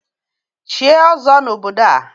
Chie ọzọ n'obodo a!